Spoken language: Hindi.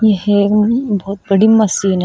यह एक बहोत बड़ी मशीन है।